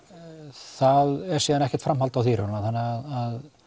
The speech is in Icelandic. það er síðan ekkert framhald á því í raun og þannig að